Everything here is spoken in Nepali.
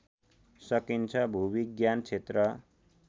सकिन्छ भूविज्ञान क्षेत्र